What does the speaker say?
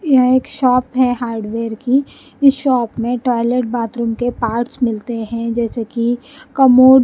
यह एक शॉप है हार्डवेयर की इस शॉप में टॉयलेट बाथरूम के पार्ट्स मिलते हैं जैसे की कमोड --